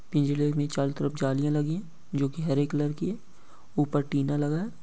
पिंजरे में चारो तरफ जालिया लगी है जो की हरे कलर की है ऊपर टीना लगा है।